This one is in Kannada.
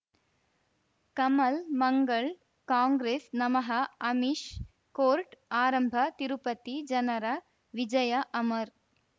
ಕಮಲ್ ಮಂಗಳ್ ಕಾಂಗ್ರೆಸ್ ನಮಃ ಅಮಿಷ್ ಕೋರ್ಟ್ ಆರಂಭ ತಿರುಪತಿ ಜನರ ವಿಜಯ ಅಮರ್